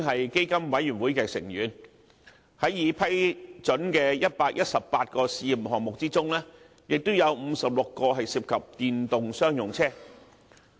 在基金委員會已批准的118個試驗項目中，亦有56個涉及電動商用車。